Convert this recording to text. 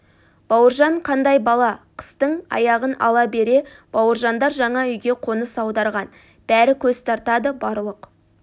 бауыржан қандай бала қыстың аяғын ала бере бауыржандар жаңа үйге қоныс аударған бәрі көз тартады барлық